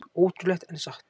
Ótrúlegt en satt